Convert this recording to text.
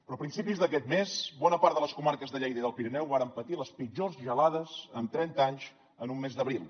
però a principis d’aquest mes bona part de les comarques de lleida i del pirineu varen patir les pitjors gelades en trenta anys en un mes d’abril